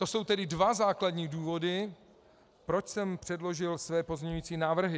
To jsou tedy dva základní důvody, proč jsem předložil své pozměňující návrhy.